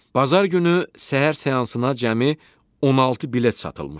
Bazar günü səhər seansına cəmi 16 bilet satılmışdı.